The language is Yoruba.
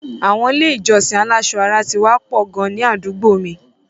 Àwọn ilé-ìjọsìn aláṣọ ara ti wá pọ̀ gan ní àdúgbò mi.